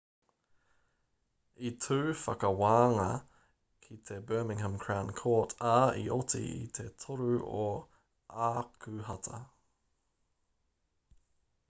i tū te whakawānga ki te birmingham crown court ā i oti i te 3 o ākuhata